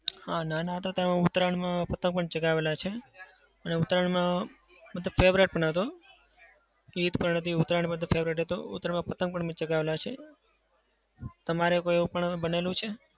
હા. નાના હતા ત્યારે ઉતરાયણમાં પતંગ પણ ચગાવેલા છે. અને ઉતરાયણમાં મતલબ favourite પણ હતો ઈદ પણ હતી ઉતરાયણ પણ favourite હતો. ઉતારાયણમાં પતંગ પણ મેં ચગાવેલા છે. તમારે કઈ એવું પણ બનેલું છે?